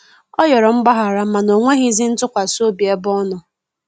Ọ yọrọ mgbahara mana onwegizi ntụkwasi obi ebe ọnọ.